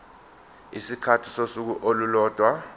isikhathi sosuku olulodwa